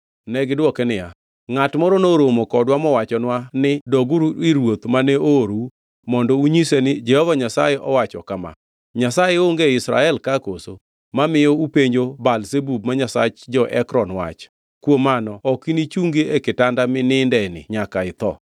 Negidwoke niya, “Ngʼat moro noromo kodwa mowachonwa ni, ‘Doguru ir ruoth mane oorou mondo unyise ni Jehova Nyasaye owacho kama: “Nyasaye onge e Israel ka koso mamiyo upenjo Baal-Zebub ma nyasach jo-Ekron wach? Kuom mano ok inichungi e kitanda minindeni nyaka itho.” ’”